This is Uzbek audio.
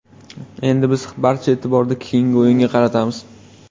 Endi biz barcha e’tiborni keyingi o‘yinga qaratamiz.